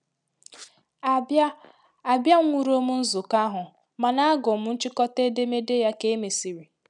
A bịa A bịa nwụrọm nzukọ ahụ, ma na agụụ m nchịkọta edemede ya ka emesịrị